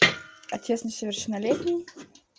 отец несовершеннолетний